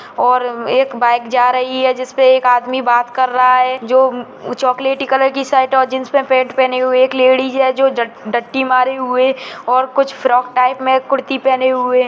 और एक बाइक जा रही है जिसपे एक आदमी बात कर रहा है जो चॉकलेटी कलर की शर्ट और जीन्स पर पेट पहनी हुई है एक लेडिज है जो डटती मारे हुए और कुछ फ्रॉक टाइप में कुर्ती पहने हुए --